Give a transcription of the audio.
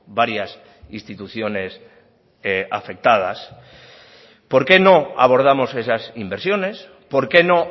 varias instituciones afectadas por qué no abordamos esas inversiones por qué no